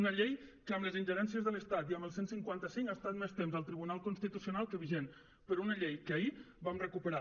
una llei que amb les ingerències de l’estat i amb el cent i cinquanta cinc ha estat més temps al tribunal constitucional que vigent però una llei que ahir vam recuperar